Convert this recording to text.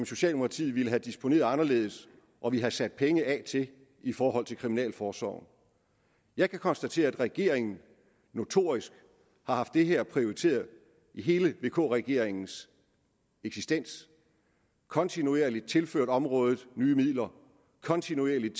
socialdemokratiet ville have disponeret anderledes og ville have sat penge af til i forhold til kriminalforsorgen jeg kan konstatere at regeringen notorisk har haft det her prioriteret i hele vk regeringens eksistens kontinuerligt har tilført området nye midler og kontinuerligt